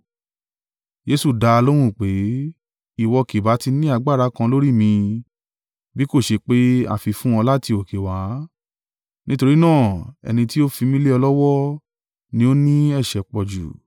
Jesu dá a lóhùn pé, “Ìwọ kì bá tí ní agbára kan lórí mi, bí kò ṣe pé a fi í fún ọ láti òkè wá, nítorí náà ẹni tí ó fi mí lé ọ lọ́wọ́ ni ó ní ẹ̀ṣẹ̀ pọ̀jù.”